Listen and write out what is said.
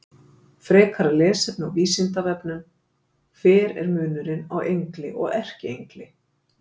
Frekara lesefni á Vísindavefnum: Hver er munurinn á engli og erkiengli?